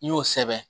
I y'o sɛbɛn